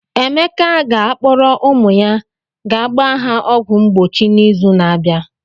Emeka ga-akpọrọ ụmụ ya ga gbaa ha ọgwụ mgbochi n'izu na-abịa.